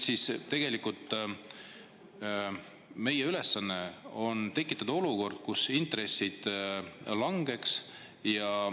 Meie ülesanne on tekitada olukord, kus intressid langeks.